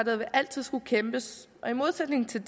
vil altid skulle kæmpes i modsætning til